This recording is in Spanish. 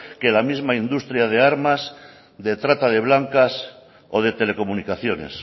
que la misma industria de armas de trata de blancas o de telecomunicaciones